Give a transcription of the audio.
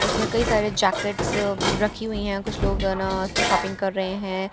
उसमे कई सारे जैकिटस रखी हुई हैं कुछ लोग हना शॉपिंग कर रहे हैं ब्राउन --